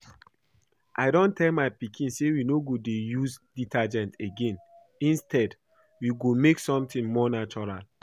I don tell my pikin say we no go dey use detergent again instead we go make something more natural